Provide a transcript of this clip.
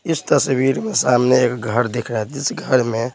इस तस्वीर में सामने एक घर दिख रहा है जिस घर में --